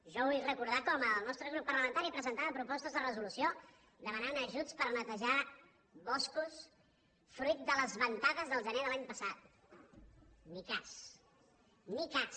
jo vull recordar com el nostre grup parlamentari presentava propostes de resolució demanant ajuts per netejar boscos fruit de les ventades del gener de l’any passat ni cas ni cas